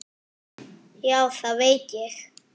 Já, það veit ég.